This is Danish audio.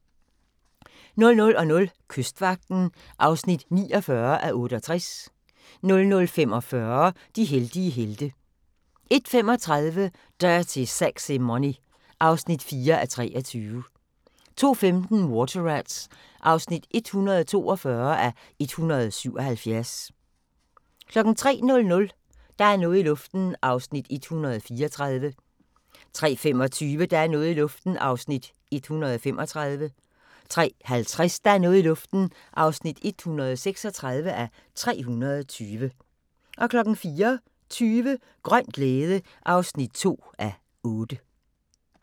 00:00: Kystvagten (49:68) 00:45: De heldige helte (18:66) 01:35: Dirty Sexy Money (4:23) 02:15: Water Rats (142:177) 03:00: Der er noget i luften (134:320) 03:25: Der er noget i luften (135:320) 03:50: Der er noget i luften (136:320) 04:20: Grøn glæde (2:8)